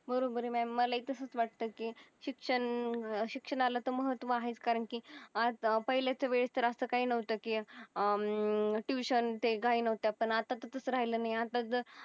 बरोबर आहे म्याडम मला ही तसच वाटत की शिक्षण शिक्षणाला तर महत्व आहेच कारण की पहिल्याच्या वेळेत तर असं काही नव्हत की अह ट्युशन ते काही नव्हत पण अत्ता ते तस काही राहील नाही, अत्ता तस